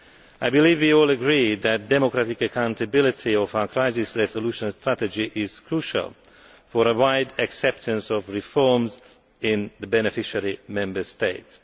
I believe you all agree that the democratic accountability of our crisis resolution strategy is crucial for the wide acceptance of reforms in the beneficiary Member States.